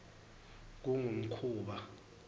kungumkhuba